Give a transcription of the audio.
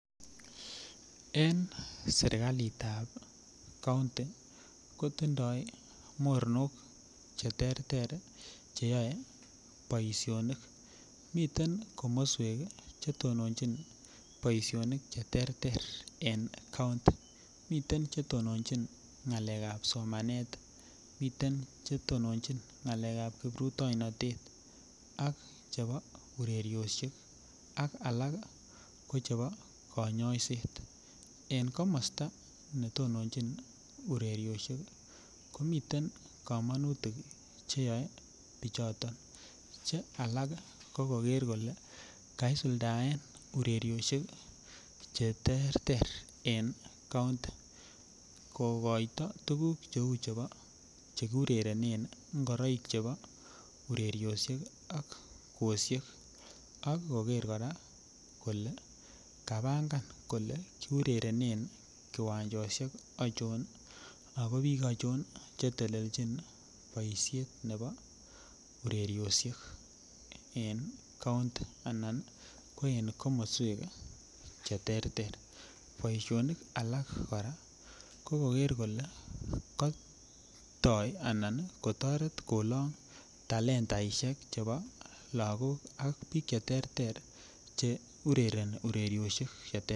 En serkali tab kounti kotindo moronok cheterter cheyoe boishonik miten komoswek kii chetononchin boishonik cheterter en kounti, miten chetonchin ngalekab somanet, miten chetononchin ngalekab kiprutoinotet am chebo urerioshek ak alak kii ko chebo konyoiset. En komosto netononchin urerioshek komiten komonutik cheyoe bichoton che alak ko koker kole kaisuldaen urerioshek cheterter en kounti kokoito tukuk cheu chebo chekiurerenen ingoroik chebo urerioshek ak kwoshek ak koker Koraa kole kapanga kole kiurerenen kiwanchoshek ochon ako bik ochon chetelelchin boishet nebo urerioshek en kounti anan ko en komoswek cheterter. Boishonik alak Koraa ko kokere kole Kotoo anan kotoret kolong talendaishek chebo Lokok ak bik cheterter che urereni urerioshek cheterter.